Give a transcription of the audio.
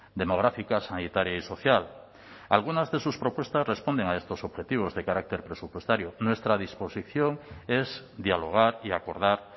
demográfica sanitaria y social algunas de sus propuestas responden a estos objetivos de carácter presupuestario nuestra disposición es dialogar y acordar